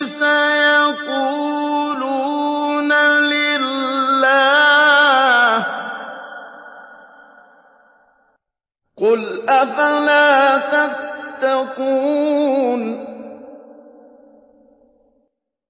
سَيَقُولُونَ لِلَّهِ ۚ قُلْ أَفَلَا تَتَّقُونَ